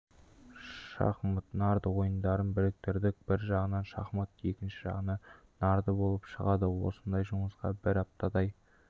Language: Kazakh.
шахмат нарды ойындарын біріктірдік бір жағынан шахмат екінші жағынан нарды болып шығады осындай жұмысқа бір аптадай